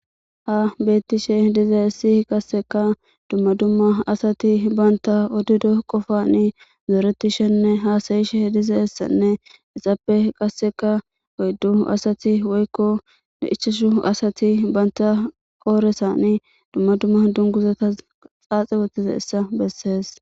Ha betishe dizayisi qaseka duma duma assati banta odido qqofa zoretishene hasayishe deyizayisa izape qasika oyidu assati woyikko ichashu asati banita qodhezani duma duma dunguzata xaxi wothidayisa besesi